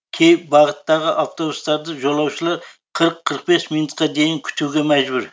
кей бағыттағы автобустарды жолаушылар қырық қырық бес минутқа дейін күтуге мәжбүр